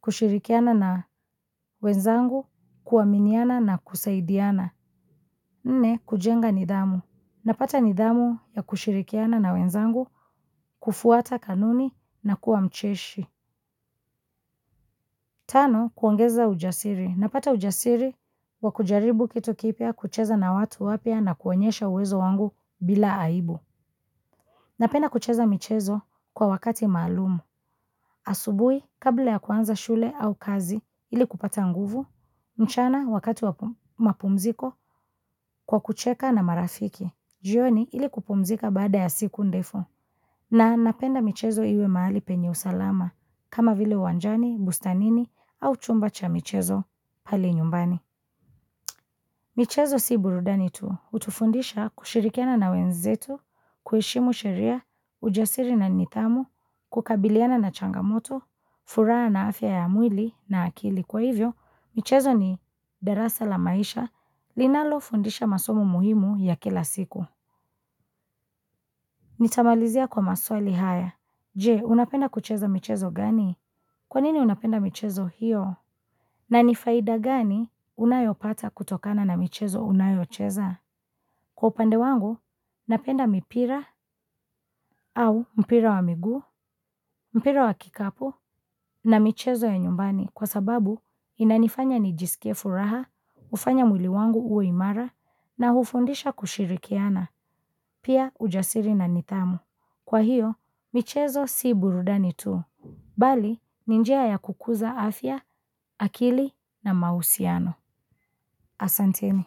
kushirikiana na wenzangu kuaminiana na kusaidiana. Nne, kujenga nidhamu. Napata nidhamu ya kushirikiana na wenzangu kufuata kanuni na kuwa mcheshi. Tano, kuongeza ujasiri. Napata ujasiri wakujaribu kitu kipya kucheza na watu wapya na kuonyesha uwezo wangu bila aibu. Napenda kucheza michezo kwa wakati maalumu. Asubuhi, kabla ya kuanza shule au kazi ili kupata nguvu, mchana wakati wamapumziko kwa kucheka na marafiki. Jioni ili kupumzika baada ya siku ndefu. Na napenda michezo iwe mahali penye usalama, kama vile uwanjani, bustanini, au chumba cha michezo pale nyumbani. Michezo si burudani tu, hutufundisha kushirikiana na wenzetu, kuheshimu sheria, ujasiri na nidhamu, kukabiliana na changamoto, furaha na afya ya mwili na akili. Kwa hivyo, michezo ni darasa la maisha, linalo fundisha masomo muhimu ya kila siku. Ni tamalizia kwa maswali haya. Je, unapenda kucheza michezo gani? Kwanini unapenda michezo hiyo? Na nifaida gani unayoipata kutokana na michezo unayoicheza? Kwa upande wangu, napenda mipira au mpira wa miguu, mpira wa kikapu na michezo ya nyumbani kwa sababu inanifanya nijisikie furaha, ufanya mwili wangu uwe imara na hufundisha kushirikiana, pia ujasiri na nidhamu. Kwahiyo, michezo si burudani tu. Bali ni njia ya kukuza afya akili na mahusiano asanteni.